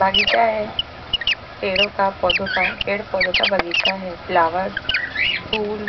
बगीचा है पेड़ों का पौधों का पेड़ पौधों का बगीचा है फ्लावर्स फूल--